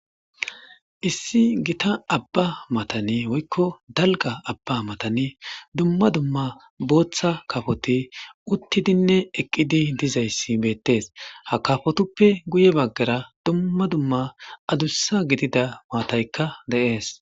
Issi Gita Abba matanni woyikko dalgga Abba matanni dumma dumma boththa kafotti uttidinne eqidi dizayiss betees.haa kafutoppe guye bagara dumma dumma addissa gidida matayikka de'ees.